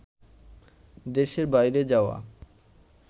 দেশের বাইরে যাওয়া